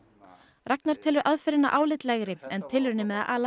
Ragnar telur aðferðina álitlegri en tilraunir með að ala